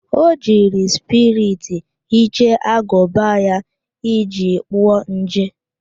O jiri spiriti hichaa agụba ya iji gbuo nje